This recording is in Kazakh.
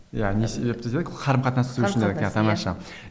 иә не себепті дедік қарым қатынас түзету үшін керек иә тамаша